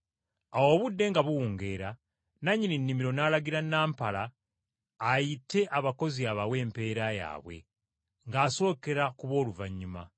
“Awo obudde nga buwungeera nannyini nnimiro n’alagira nampala ayite abakozi abawe empeera yaabwe ng’asookera ku b’oluvannyuma.